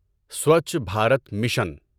Swachh Bharat mission